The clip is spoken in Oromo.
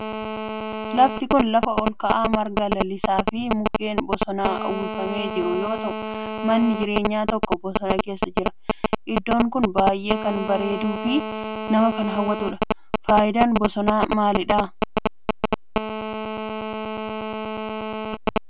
lafti kun lafa olka'aa marga lalisaa fi mukkeen bosonaan uwwifamee jiru yoo ta'u manni jireenyaa tokko bosona keessa jira. iddoon kun baayyee kan bareeduu fi nama hawwatudha. faayidaan bosonaa maalidha?